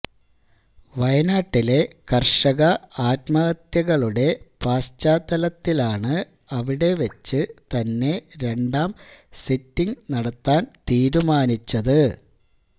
വയനാട്ടിലെ കര്ഷക ആത്മഹത്യകളുടെ പശ്ചാത്തലത്തിലാണ് അവിടെ വച്ച് തന്നെ രണ്ടാം സിറ്റിങ് നടത്താന് തീരുമാനിച്ചത്